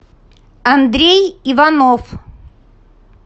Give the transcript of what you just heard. андрей иванов